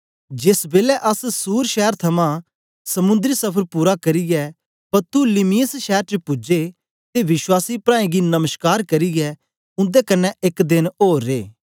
जेस बेलै अस सूर शैर थमां समुन्दरी सफर पूरा करियै पतुलिमयिस शैर च पूजे ते विश्वासी प्राऐं गी नमश्कार करियै उन्दे कन्ने एक देन ओर रे